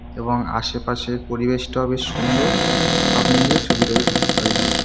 এবং আশেপাশের পরিবেশটাও বেশ সুন্দর। সব মিলিয়ে ছবিটা বেশ ভালই লাগছে ।